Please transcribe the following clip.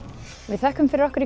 þökkum fyrir okkur í